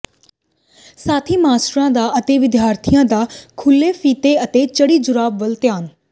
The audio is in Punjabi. ਸਾਥੀ ਮਾਸਟਰਾਂ ਦਾ ਅਤੇ ਵਿਦਿਆਰਥੀਆਂ ਦਾ ਖੁਲ੍ਹੇ ਫੀਤੇ ਅਤੇ ਚੜ੍ਹੀ ਜੁਰਾਬ ਵੱਲ ਧਿਆਨ